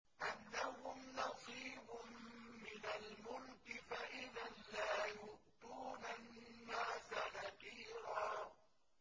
أَمْ لَهُمْ نَصِيبٌ مِّنَ الْمُلْكِ فَإِذًا لَّا يُؤْتُونَ النَّاسَ نَقِيرًا